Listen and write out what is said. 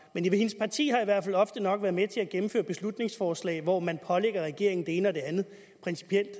men hendes parti har i hvert fald ofte nok været med til at gennemføre beslutningsforslag hvor man pålægger regeringen det ene og det andet principielt